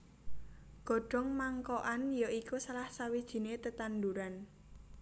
Godhong Mangkokan ya iku salah sawijiné tetanduran